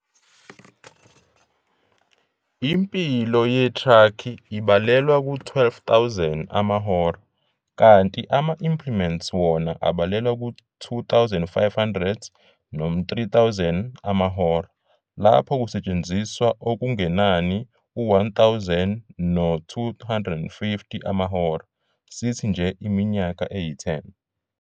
Impilo yetraki ibalelwa ku-12 000 amahora, kanti ama-implements wona abalelwa ku-2 500 3 000 amahora, lapho kusetshenziswa okungenani u-1 000 no-250 amahora, sithi nje iminyaka eyi-10.